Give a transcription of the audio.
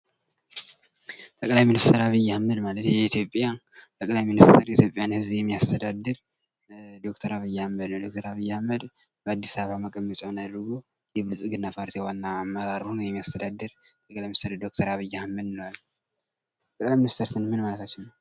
ጠቅላይ ሚኒስትር አብይ አህመድ ማለት የኢትዮጵያን ለጊዜው የሚያስተዳድር ጠቅላይ ጠቅላይ ሚኒስትር ዶክተር ዐቢይ አህመድ በአዲስ አበባ መቀመጫውን አድርጎ የሚያስተዳደር የብልፅግና ዋና አስተዳዳሪ ነው። ጠቅላይ ሚኒስትር ስንል ምን ማለት ነው?